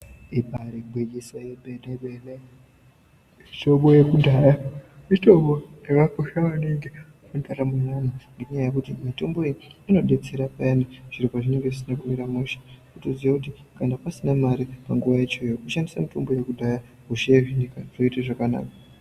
Ibari gwinyiso yomene mene mitombo yekudhaya mitombo yakakosha maningi mundaramo yeantu ngenyaya yekuti mitombo iyi inodetsera peyani zviro pazvinenge zvisina kumira mushe wotoziya kuti kana pasina mare panguwa yacho iyoyo kushandise mitombo yekudhaya kusheyezvinika zvoite zvakanaka.